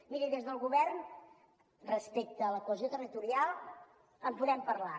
miri des del govern respecte a la cohesió territorial en podem parlar